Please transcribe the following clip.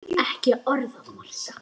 Ekki orð að marka.